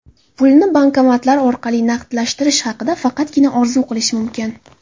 Pulni bankomatlar orqali naqdlashtirish haqida faqatgina orzu qilish mumkin.